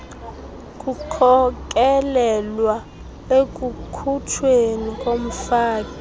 kukhokelela ekukhutshweni komfaki